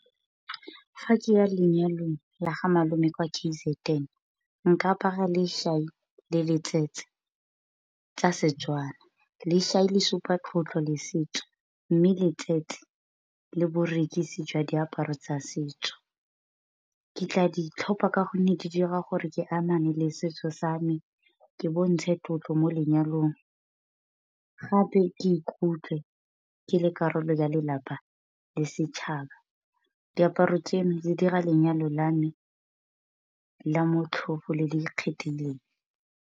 Fa ke ya lenyalong la ga malome kwa K_Z_N nka apara le tsa Setswana. le supa tlotlo le setso mme le berekisi jwa diaparo tsa setso. Ke tla ditlhopha ka gonne di dira gore ke amane le setso sa me, ke bontshe tlotlo mo lenyalong gape ke ikutlwe ke le karolo ya lelapa le setšhaba. Diaparo tseno di dira lenyalo la me la motlhofo le le ikgethileng.